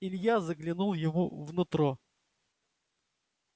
илья заглянул ему в нутро